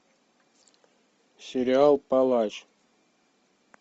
сериал палач